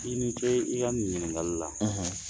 I ni ce i ka nin ɲininkali la